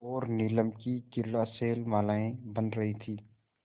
और नीलम की क्रीड़ा शैलमालाएँ बन रही थीं